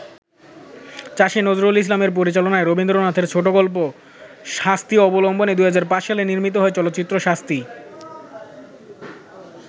চাষী নজরুল ইসলামের পরিচালনায় রবীন্দ্রনাথের ছোটগল্প ‘শাস্তি’ অবলম্বনে ২০০৫ সালে নির্মিত হয় চলচ্চিত্র ‘শাস্তি’।